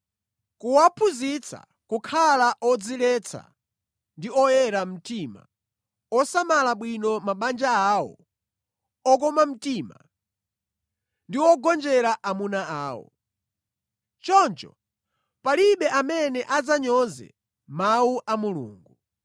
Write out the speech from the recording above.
Kuwaphunzitsa kukhala odziletsa ndi oyera mtima, osamala bwino mabanja awo, okoma mtima, ndi ogonjera amuna awo. Choncho palibe amene adzanyoze mawu a Mulungu.